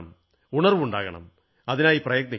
ഉണർവ്വുണ്ടാകണം അതിനായി പ്രയത്നിക്കണം